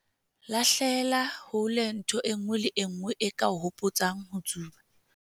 Lahlela hole ntho e nngwe le e nngwe e ka o hopotsang ho tsuba.